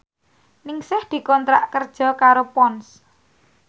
Ningsih dikontrak kerja karo Ponds